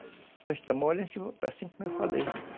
Depois que está mole, assim como eu falei.